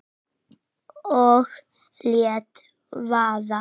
Og lét vaða.